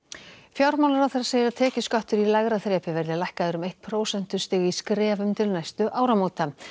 fjármálaráðherra segir að tekjuskattur í lægra þrepi verði lækkaður um eitt prósentustig í skrefum til næstu áramóta